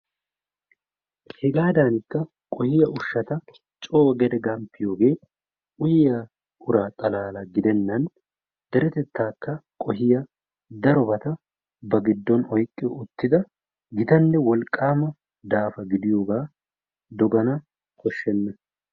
Hegaadankka qohiyaa ushshata coo gede gamppiyoogee uyiyaa ura xalaala gidennan deretettaaka qohiyaa darobata ba giddon oyqqi uttida gitanne wolqaama daafa gidiyoogaa doogana kooshshena.